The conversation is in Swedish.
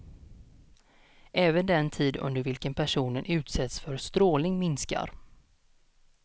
Även den tid under vilken personen utsätts för strålning minskar.